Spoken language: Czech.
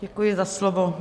Děkuji za slovo.